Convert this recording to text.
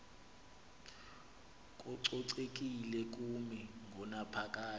kococekile kumi ngonaphakade